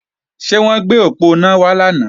Ṣé wọ́n gbé òponá wá lánàá?